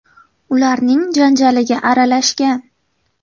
ularning janjaliga aralashgan.